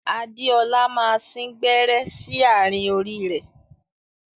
Adéọlá máa sìn gbẹ́rẹ́ sí àárín orí ẹ.